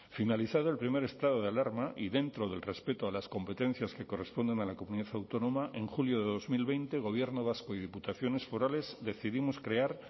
finalizado el primer estado de alarma y dentro del respeto a las competencias que corresponden a la comunidad autónoma en julio de dos mil veinte gobierno vasco y diputaciones forales decidimos crear